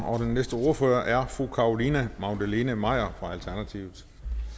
og den næste ordfører er fru carolina magdalene maier fra alternativet